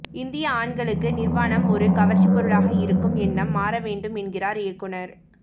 இந்திய ஆண்களுக்கு நிர்வாணம் ஒரு கவர்ச்சி பொருளாக இருக்கும் எண்ணம் மாற வேண்டும் என்கிறார் இயக்குநர்